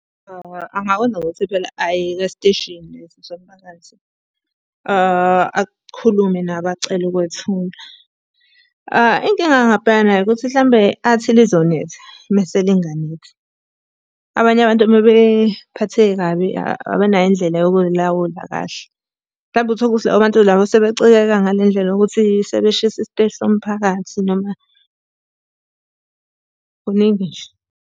Angakwenza ngokuthi phela aye esiteshini somphakathi, akhulume nabo acele ukwethula. Inkinga angabhekana nayo ukuthi hlampe athi lizonetha mese linganethi. Abanye abantu uma bephatheke kabi abanayo indlela yokuy'lawula kahle. Hlampe uthole ukuthi labo bantu labo sebecikeke ngale ndlela yokuthi sebeshise isiteshi somphakathi noma, kuningi nje.